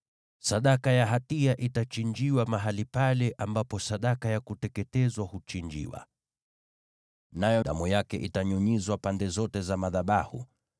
Sadaka ya hatia itachinjiwa mahali pale ambapo sadaka ya kuteketezwa huchinjiwa, nayo damu yake itanyunyizwa pande zote za madhabahu.